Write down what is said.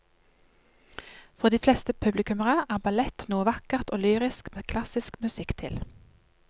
For de fleste publikummere er ballett noe vakkert og lyrisk med klassisk musikk til.